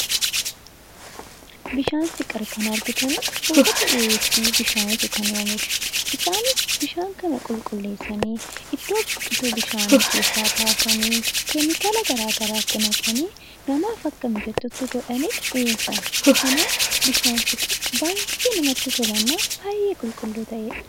Bishaan fiqir kan argitan warroota bishaan dhugaatii dhiyeessu. Isaanis bishaan dhugaatii kana qulqulleessanii iddoo burqituu bishaanii keessaa baasanii keemikaala garaagaraa itti naqanii namaaf akka mijatu godhanii dhiyeessan. Kanaaf bishaan Kun baay'ee qulqulluu fi kan namatti toludha